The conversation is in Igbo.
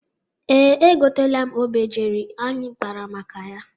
Ee, egoteela m obejiri anyị kpara maka ya.